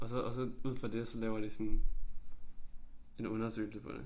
Og så og så ud fra det så laver de sådan en undersøgelse på det